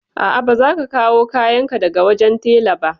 A'a, ba zan ka kawo kayan ka daga wajen tela ba.